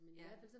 Ja